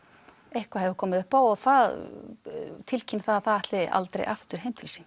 eitthvað hefur komið upp á og það tilkynnir það að það ætli aldrei aftur heim til sín